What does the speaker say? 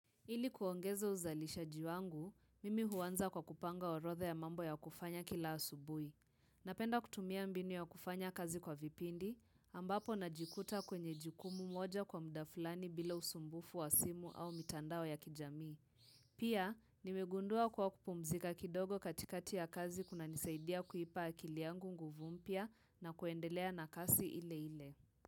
Ili kuongeza uzalishaji wangu, mimi huanza kwa kupanga orodha ya mambo ya kufanya kila asubuhi. Napenda kutumia mbinu ya kufanya kazi kwa vipindi, ambapo najikuta kwenye jikumu moja kwa muda fulani bila usumbufu wa simu au mitandao ya kijamii. Pia, nimegundua kwa kupumzika kidogo katikati ya kazi kuna nisaidia kuipa akiliangu nguvu mpya na kuendelea na kasi ile ile.